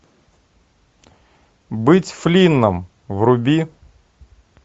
быть флинном вруби